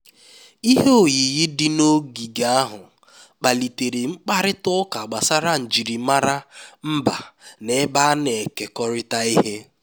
ihe oyiyi dị n'ogige ahụ kpalitere mkparịta ụka gbasara njirimara mba na ebe a na-ekekọrịta ihe